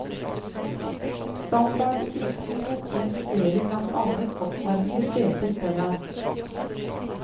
Standardutrustningen inkluderer blant annet oppvarmede seter foran.